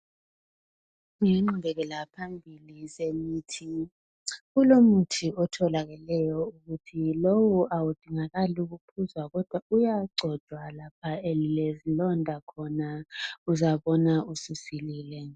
Ingqubekela phambili zemithi, kulomuthi otholakeleyo. Lowu awudingakali ukuphuzwa, uyagcotshwa lapha elilezilonda khona uzabona ususilile.